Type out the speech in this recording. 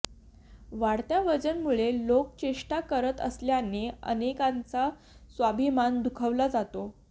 वाढत्या वजनामुळे लोक चेष्टा करत असल्याने अनेकांचा स्वाभिमान दुखावला जातो